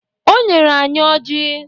O nyere anyị Ọji